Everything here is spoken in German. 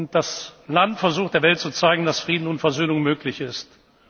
Weg gefunden. Das Land versucht, der Welt zu zeigen, dass Frieden und Versöhnung